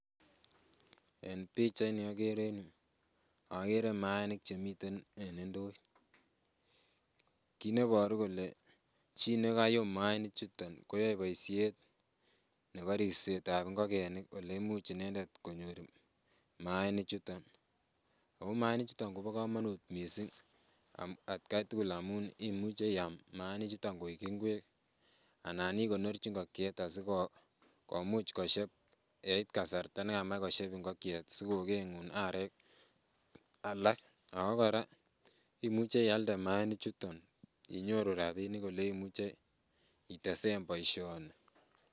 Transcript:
En pichait ni okere en yuu okere maaanik chemiten en ndoit kit neboru kole chii nekayum maaniik chuton koyoe boisiet nebo ripsetab ngokenik oleimuch inendet konyor maaniik chuton ako maaniik chuton kobo komonut missing atkai tugul amun imuche iam maaniik chuton koik ingwek anan ikonorchi ngokiet asikomuch koshep yeit kasarta nekamach koshep ngokyet sikokeng'un arek alak ako kora imuche ialde maaniik chuton inyoru rapinik olemuche itesen boisioni